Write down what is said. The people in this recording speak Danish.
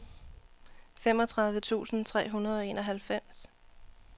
femogtredive tusind tre hundrede og enoghalvfems